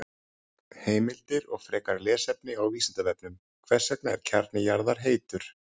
Heimildir og frekara lesefni á Vísindavefnum: Hvers vegna er kjarni jarðar heitur?